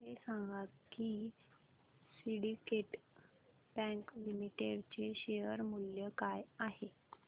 हे सांगा की सिंडीकेट बँक लिमिटेड चे शेअर मूल्य काय आहे